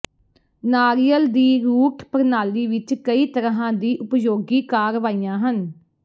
ਨਾਰੀਅਲ ਦੀ ਰੂਟ ਪ੍ਰਣਾਲੀ ਵਿੱਚ ਕਈ ਤਰ੍ਹਾਂ ਦੀਆਂ ਉਪਯੋਗੀ ਕਾਰਵਾਈਆਂ ਹਨ